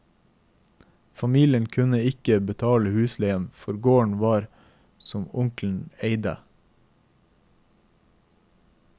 Familien kunne ikke betale husleien for gården som onkelen eide.